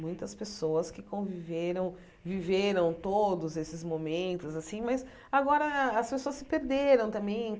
Muitas pessoas que conviveram, viveram todos esses momentos assim, mas agora as pessoas se perderam também.